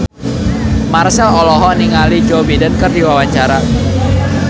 Marchell olohok ningali Joe Biden keur diwawancara